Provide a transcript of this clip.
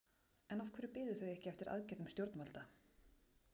En af hverju biðu þau ekki eftir aðgerðum stjórnvalda?